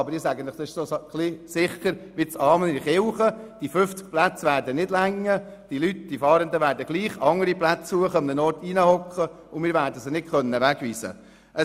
Allerdings ist es so sicher wie das Amen in der Kirche, dass diese 50 Plätze nicht ausreichen und die Fahrenden andere Plätze suchen werden, wo wir sie nicht wegweisen können.